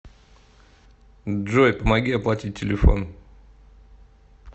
джой помоги оплатить телефон